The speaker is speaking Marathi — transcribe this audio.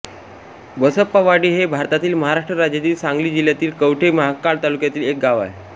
बसप्पावाडी हे भारतातील महाराष्ट्र राज्यातील सांगली जिल्ह्यातील कवठे महांकाळ तालुक्यातील एक गाव आहे